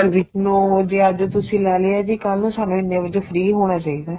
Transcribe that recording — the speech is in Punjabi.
ਹਾਂਜੀ ਨੋ ਵਜੇ ਅੱਜ ਤੁਸੀਂ ਲੈ ਲਿਆ ਜੀ ਕੱਲ ਨੂੰ ਸਾਨੂੰ ਇੰਨੇ ਵਜੇ free ਹੋਣਾ ਚਾਹੀਦਾ